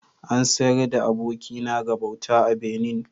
An sayar da abokina ga bauta a Benin